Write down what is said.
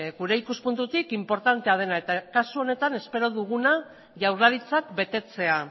gure ikuspuntutik inportantea dena eta kasu honetan espero duguna jaurlaritzak betetzea